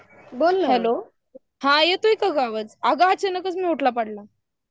बोल ना यतोय काय ग आवाज? आग अचानक म्यूट ला पडला